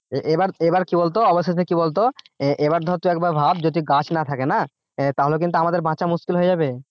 এ এবার এবার কি বলতো অবশেষে কি বলতো এবার ধর তুই একবার ভাব যদি গাছ না থাকে না তাহলে কিন্তু আমাদের বাঁচা মুশকিল হয়ে যাবে